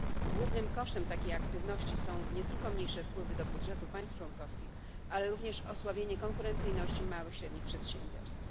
Głównym kosztem takiej aktywności są nie tylko mniejsze wpływy do budżetu państw członkowskich, ale również osłabienie konkurencyjności małych i średnich przedsiębiorstw.